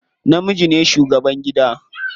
Namiji ne shugaban gida.